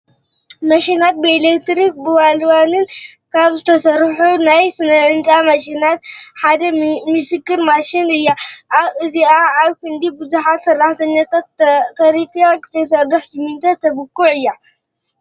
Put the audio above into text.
ማሽናት፡- ብኤሌክትሪክን ብዋንዋልን ካብ ዝሰርሑ ናይ ስነ-ህንፃ ማሽናት ሓደ ሚክሰር ማሽን እያ፡፡ እዚኣ ኣብ ክንዲ ብዙሓት ሰራሕተኛታት ተሪኪኣ ክትሰርሕ ስሚንቶ ተቡኩዕ እያ፡፡